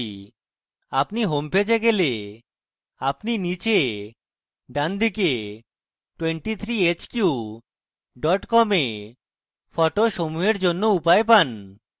আপনি home পেজে গেলে আপনি নীচে ডানদিকে 23hq com তে photo সমূহের জন্য উপায় page